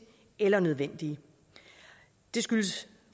eller nødvendige det skyldes